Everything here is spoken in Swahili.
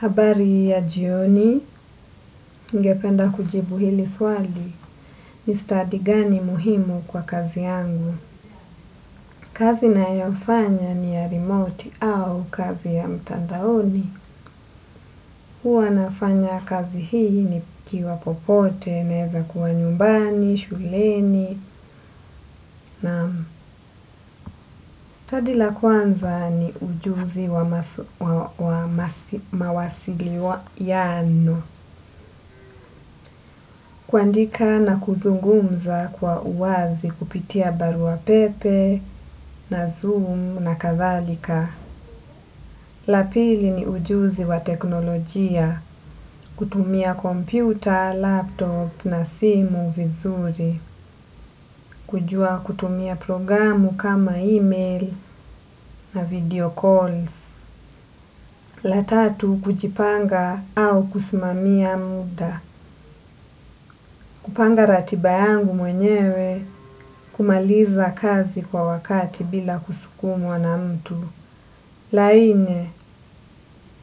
Habari ya jioni, ningependa kujibu hili swali ni stadi gani muhimu kwa kazi yangu. Kazi nayofanya ni ya rimoti au kazi ya mtandaoni. Huwa nafanya kazi hii nikiwa popote naweza kuwa nyumbani, shuleni naam, stadi la kwanza ni ujuzi wa mawasiliano. Kuandika na kuzungumza kwa uwazi kupitia barua pepe na zoom na kadhalika. La pili ni ujuzi wa teknolojia. Kutumia kompyuta, laptop na simu vizuri. Kujua kutumia programu kama email na video calls. La tatu kujipanga au kusimamia muda. Kupanga ratiba yangu mwenyewe kumaliza kazi kwa wakati bila kusukumwa na mtu. La nne,